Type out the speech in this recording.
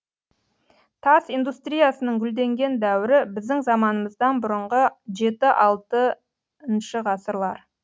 тас индустриясының гүлденген дәуірі біздің заманымыздан бұрынғы жеті алтыншы ғасырлар